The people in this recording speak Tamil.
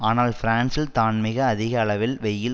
ஆனால் பிரான்சில் தான் மிக அதிக அளவிற்கு வெய்யில்